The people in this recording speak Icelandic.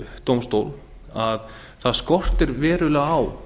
stjórnsýsludómstól að það skortir verulega á